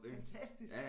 Fantastisk